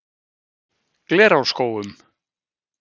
Glerárskógum